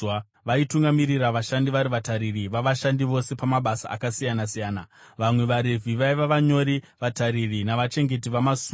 vaitungamirira vashandi vari vatariri vavashandi vose pamabasa akasiyana-siyana. Vamwe vaRevhi vaiva vanyori, vatariri navachengeti vamasuo.